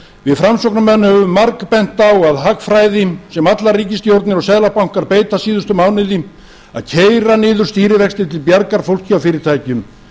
við framsóknarmenn höfum margbent á að hagfræði sem allar ríkisstjórnir og seðlabankar beita sér fyrir síðustu mánuði að keyra niður stýrivexti til bjargar fólki og fyrirtækjum